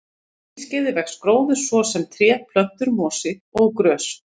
Á hlýskeiði vex gróður, svo sem tré, plöntur, mosi og grös.